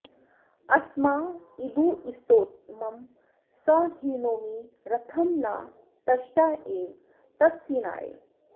अस्मा इदु स्तोमं सं हिनोमि रथं न तष्टेव तत्सिनाय